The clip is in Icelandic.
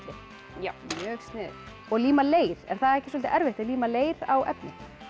já mjög sniðugt og líma leir er það ekki soldið erfitt að líma leir á efni